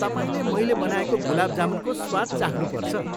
तपाईँले मैले बनाएको गुलाब जामुनको स्वाद चाख्नुपर्छ।